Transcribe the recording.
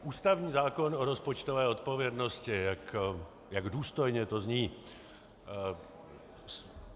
Ústavní zákon o rozpočtové odpovědnosti - jak důstojně to zní.